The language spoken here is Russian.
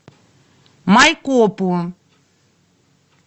майкопу